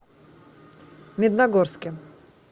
медногорске